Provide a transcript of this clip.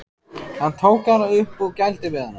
Hann tók hana upp og gældi við hana.